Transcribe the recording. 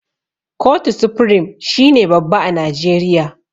Kotu supirim shine babba a najeriya.